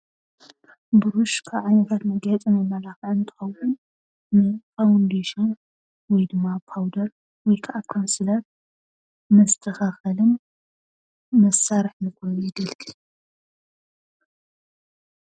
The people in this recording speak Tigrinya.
ቡሩሽ ካብ ዓይነታት መጋየፅን መመላኽዕን እንትኸውን ንፋውንዴሽን ወይ ድማ ፖውደር ወይከዓ ካውንስለር መስተኻኸሊን መሳርሒ ኾይኑ የገልግል፡፡